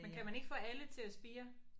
Men kan man ikke få alle til at spire?